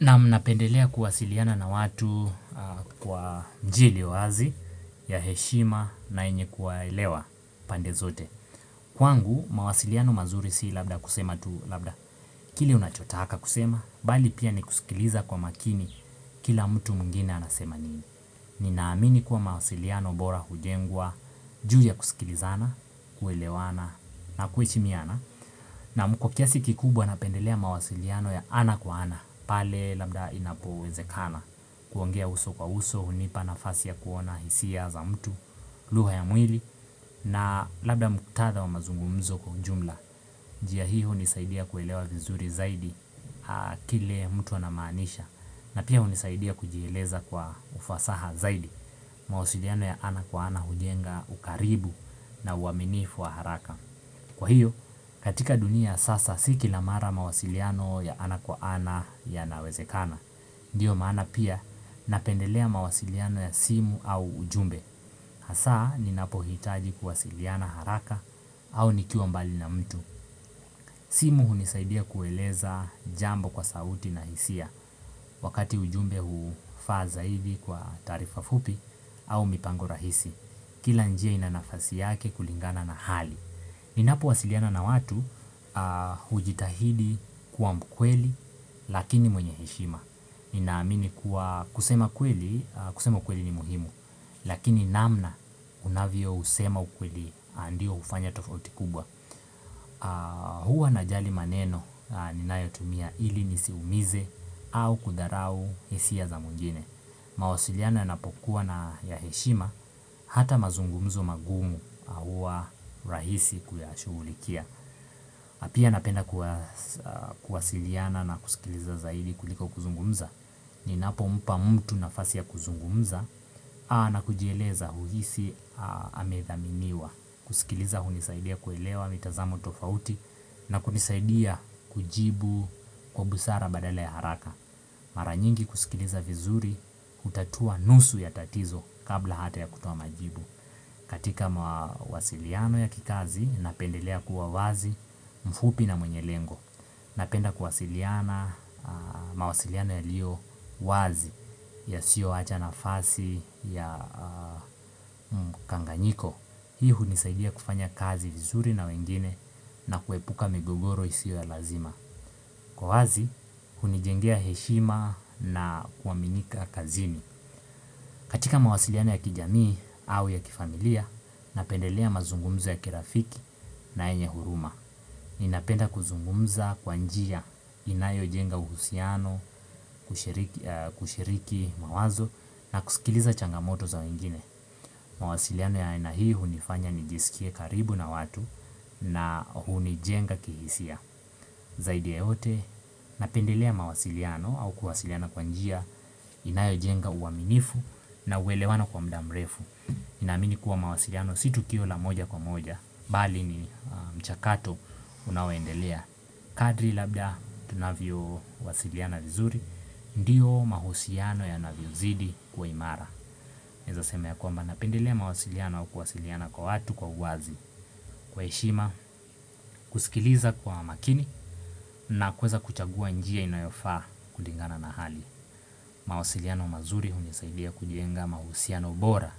Na mnapendelea kuwasiliana na watu kwa njia iliyo wazi ya heshima na yenye kuwaelewa pande zote. Kwangu, mawasiliano mazuri si labda kusema tu labda kile unachotaka kusema, bali pia ni kusikiliza kwa makini kila mtu mwingine anasema nini. Ninaamini kuwa mawasiliano bora hujengwa, juu ya kusikilizana, kuelewana na kuheshimiana. Namkokiasi kikubwa napendelea mawasiliano ya ana kwa ana pale labda inapoweze kana kuongea uso kwa uso, hunipa nafasi ya kuona hisia za mtu lugha ya mwili na labda mkutadhw wa mazungumzo kwa jumla, njia hiyo hunisaidia kuelewa vizuri zaidi Kile mtu anamaanisha na pia hunisaidia kujieleza kwa ufasaha zaidi mawasiliano ya ana kwa ana hujenga ukaribu na uaminifu wa haraka Kwa hiyo katika dunia ya sasa si kila mara mawasiliano ya ana kwa ana ya nawezekana Ndiyo maana pia napendelea mawasiliano ya simu au ujumbe Hasaa ninapo hitaji kuwasiliana haraka au nikiwa mbali na mtu simu hunisaidia kueleza jambo kwa sauti na hisia Wakati ujumbe hufaa zaidi kwa taarifa fupi au mipango au mipango rahisi Kila njia ina nafasi yake kulingana na hali Ninapo wasiliana na watu hujitahidi kuwa mkweli lakini mwenye heshima. Ninaamini kuwa kusema kweli kusema kweli ni muhimu lakini namna unavyo usema kweli ndiyo hufanya tofauti kubwa. Huwa najali maneno ninayotumia ili nisiumize au kudharau hisia za mwingine. Mawasiliano na pokuwa na ya heshima Hata mazungumzo magumu huwa rahisi kuyashuhulikia pia napenda kuwa kuwasiliana na kusikiliza zaidi kuliko kuzungumza Ninapo mpa mtu nafasi ya kuzungumza na kujieleza huhisi amedhaminiwa kusikiliza hunisaidia kuelewa mitazamo tofauti na kunisaidia kujibu kwa busara badala ya haraka Mara nyingi kusikiliza vizuri hutatua nusu ya tatizo kabla hata ya kutoa majibu. Katika mawasiliano ya kikazi napendelea kuwa wazi mfupi na mwenye lengo. Napenda kuwasiliana mawasiliano yalio wazi yasio wacha nafasi ya mkanganyiko. Hii hunisaidia kufanya kazi vizuri na wengine na kuepuka migogoro isio ya lazima. Kuwa wazi, hunijengea heshima na kuwaminika kazini. Katika mawasiliano ya kijamii au ya kifamilia, napendelea mazungumzo ya kirafiki na yenye huruma. Ninapenda kuzungumza kwa njia inayo jenga uhusiano, kushirik kushiriki mawazo na kusikiliza changamoto za wengine. Mawasiliano ya aina hii hunifanya nijisikie karibu na watu na hunijenga kihisia. Zaidi ya yote, napendelea mawasiliano au kuwasiliana kwa njia inayo jenga uaminifu na uwelewano kwa mda mrefu. Na amini kuwa mawasiliano si tukio la moja kwa moja, bali ni mchakato unaoendelea. Kadri labda tunavyo wasiliana vizuri, ndiyo mahusiano yanavyo zidi kuwa imara. Naeza sema ya kwamba napendelea mawasiliano au kuwasiliana kwa watu kwa uwazi. Kwa heshima, kusikiliza kwa makini na kuweza kuchagua njia inayofaa kulingana na hali mawasiliano mazuri hunisaidia kujenga mahusiano bora